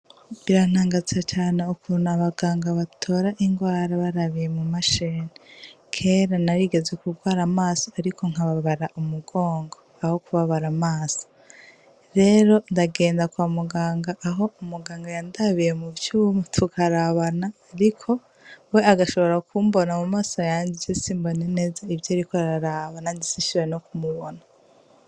Birantangaza cane ukuntu abaganga batora ingwara barabiye mumashini, Kera narigeze kugwara amaso ariko nkababara umugongo aho kubabara amaso rero ndagenda kwa muganga aho umuganga yandabiye muvyuma tukarabana we agashobora kumbona mumaso yanje je simbona neza ivyo ariko araraba nanje sinshobore no kumubona.